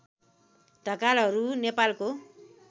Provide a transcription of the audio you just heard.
ढकालहरू नेपालको